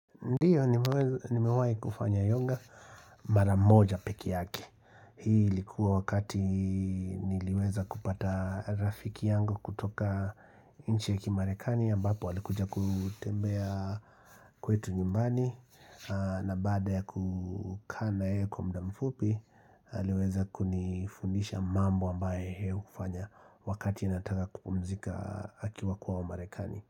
Ndio, nimewahi kufanya yoga mara moja peke yake. Hii ilikuwa wakati niliweza kupata rafiki yangu kutoka nchi ya kimarekani, ambapo alikuja kutembea kwetu nyumbani, na baada ya kukaa na yeye kwa muda mfupi, aliweza kunifundisha mambo ambaye yeye hufanya wakati anataka kupumzika akiwa kwao marekani.